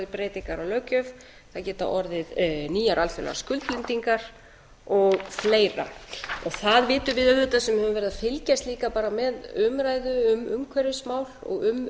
orðið breytingar á löggjöf það geta orðið nýjar alþjóðlegar skuldbindingar og fleira það vitum við auðvitað sem höfum verið að fylgjast líka bara með umræðu um umhverfismál og um